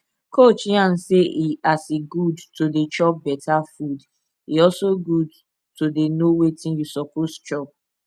coach yarn say e as e good to dey chop better food e also good to dey know wetin you suppose chop